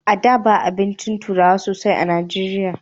A da ba abincin turawa sosai a najeriya